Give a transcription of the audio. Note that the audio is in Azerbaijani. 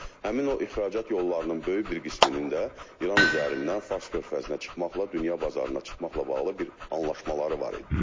Həmin o ixracat yollarının böyük bir qisminin də İran üzərindən Fars körfəzinə çıxmaqla, dünya bazarına çıxmaqla bağlı bir anlaşmaları var idi.